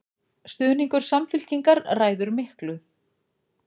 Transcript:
Stuðningur Samfylkingar ræður miklu